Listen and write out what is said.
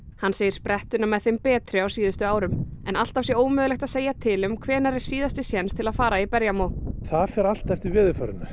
hann segir sprettuna með þeim betri á síðustu árum en alltaf sé ómögulegt að segja til um hvenær er síðasti séns til að fara í berjamó það fer allt eftir veðurfarinu